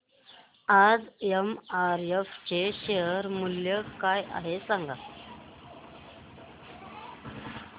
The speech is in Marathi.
आज एमआरएफ चे शेअर मूल्य काय आहे सांगा